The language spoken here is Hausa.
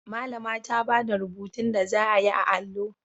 Malama ta bada rubutun da zaa yi a allo